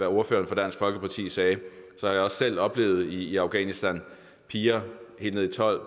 ordføreren for dansk folkeparti sagde har jeg også selv oplevet i afghanistan piger helt ned i tolv